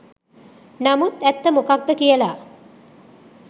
නමුත් ඇත්ත මොකද්ද කියලා